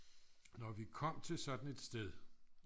når vi kom til sådan et sted